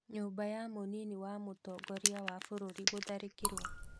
Nyũmba ya mũnini wa mũtongoria wa bũrũri gũtharĩkiro.